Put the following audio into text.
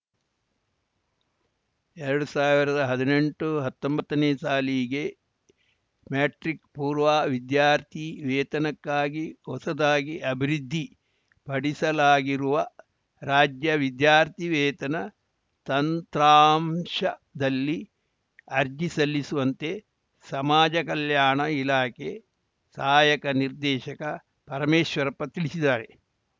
ಎರಡು ಸಾವಿರದ ಹದಿನೆಂಟುಹತ್ತೊಂಬತ್ತನೇ ಸಾಲಿಗೆ ಮೆಟ್ರಿಕ್‌ ಪೂರ್ವ ವಿದ್ಯಾರ್ಥಿ ವೇತನಕ್ಕಾಗಿ ಹೊಸದಾಗಿ ಅಭಿವೃದ್ಧಿ ಪಡಿಸಲಾಗಿರುವ ರಾಜ್ಯ ವಿದ್ಯಾರ್ಥಿ ವೇತನ ತಂತ್ರಾಂಶದಲ್ಲಿ ಅರ್ಜಿ ಸಲ್ಲಿಸುವಂತೆ ಸಮಾಜ ಕಲ್ಯಾಣ ಇಲಾಖೆ ಸಹಾಯಕ ನಿರ್ದೇಶಕ ಪರಮೇಶ್ವರಪ್ಪ ತಿಳಿಸಿದ್ದಾರೆ